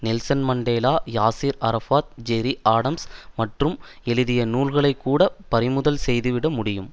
Nelson Mandela Yasser Arafat Gerry Adams மற்றும் எழுதிய நூல்களைக்கூட பறிமுதல் செய்துவிட முடியும்